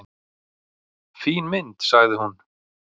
"""Fín mynd, sagði hún."""